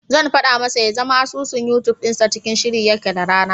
Zan faɗa masa ya zama asusun Yutub dinsa cikin shiri yake da rana.